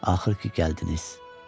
Axır ki, gəldiniz.